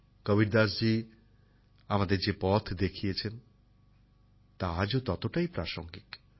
কবীরদাসজি আমাদের যে পথ দেখিয়েছেন তা আজও ততটাই প্রাসঙ্গিক